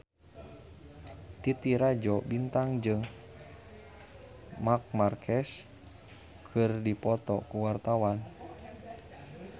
Titi Rajo Bintang jeung Marc Marquez keur dipoto ku wartawan